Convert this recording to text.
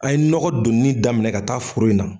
A ye nɔgɔ donini daminɛ ka taa foro la.